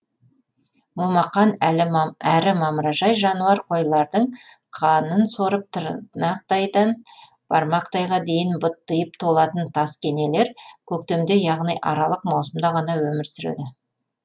момақан әрі мамыражай жануар қойлардың қанын сорып тырнақтайдан бармақтайға дейін быттиып толатын таскенелер көктемде яғни аралық маусымда ғана өмір сүреді